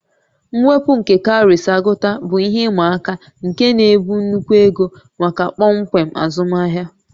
Mwepu nke cowries agụta bụ ihe ịma aka nke na-ebu nnukwu ego maka kpọmkwem azụmahịa